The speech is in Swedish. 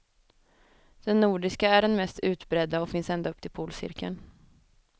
Den nordiska är den mest utbredda och finns ända upp till polcirkeln.